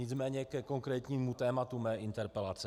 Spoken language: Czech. Nicméně ke konkrétnímu tématu mé interpelace.